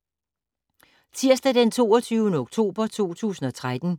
Tirsdag d. 22. oktober 2013